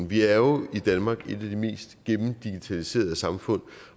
vi er jo i danmark et af de mest gennemdigitaliserede samfund